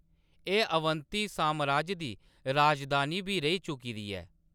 एह्‌‌ अवंती सामराज दी राजधानी बी रेही चुकी दी ऐ।